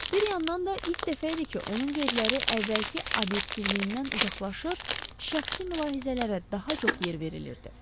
Bir yandan da ilk dəfə idi ki, onun qeydləri əvvəlki obyektivliyindən uzaqlaşır, şəxsi mülahizələrə daha çox yer verilirdi.